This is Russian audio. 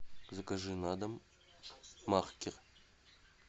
закажи на дом маркер